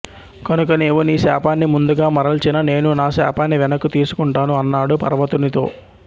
కనుక నీవు నీ శాపాన్ని ముందుగా మరల్చిన నేను నా శాపాన్ని వెనక్కు తీసుకుంటాను అన్నాడు పర్వతునితో